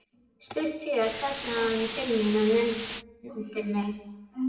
Stuttu síðar kallaði hann til mín og nefndi mig